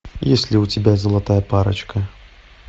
есть ли у тебя золотая парочка